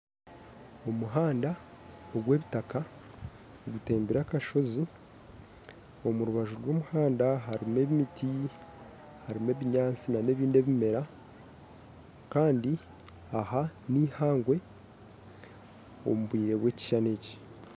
Omuhanda ogwa ebitaka gutembere akashozi omu rubaju rwa omuhanda harimu emiti harimu ebinyaatsi nanebindi ebimera kandi aha ni ihangwe omu bwire bwa ekishushani eki